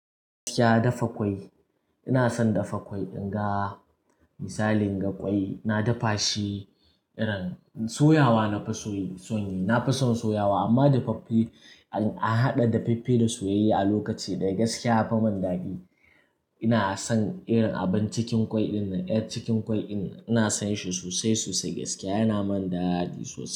Ya dafa ƙwai. Ina son dafa ƙwai inga. Misali ga ƙwai, na dafa shi irin soyawa na fi son yi. Na fi son soyawa amma dafaffe an haɗa daffe da soyaye a lokaci ɗaya gaskiya yafi mun ɗadi. Ina son irin abin cikin ƙwai dinnan, ƴar cikin ƙwai dinnan ina son shi sosai-sosai gaskiya yana mun ɗadi sosai.